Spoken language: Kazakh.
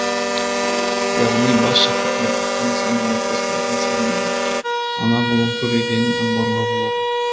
яғни бас шаһарда баспана саны отбасылардың санынан анағұрлым көп екенін аңғаруға болады